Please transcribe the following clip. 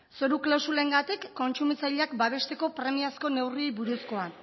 zoru klausulengatik kontsumitzaileak babesteko premiazko neurriei buruzkoa